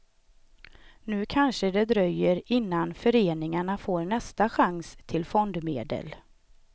Nu kanske det dröjer innan föreningarna får nästa chans till fondmedel.